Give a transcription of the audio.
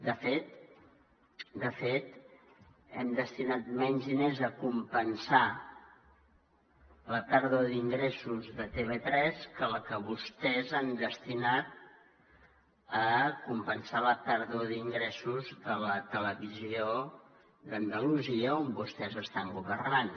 de fet hem destinat menys diners a compensar la pèrdua d’ingressos de tv3 que la que vostès han destinat a compensar la pèrdua d’ingressos de la televisió d’andalusia on vostès estan governant